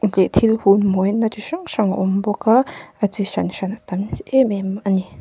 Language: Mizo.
thil hum mawina chi hrang hrang a awm bawka a chi hran hran a tam hle em em a ni.